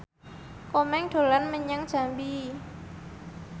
Komeng dolan menyang Jambi